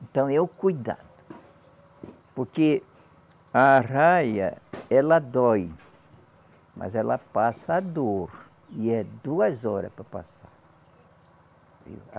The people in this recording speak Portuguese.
Então é o cuidado, porque a arraia ela dói, mas ela passa a dor e é duas horas para passar.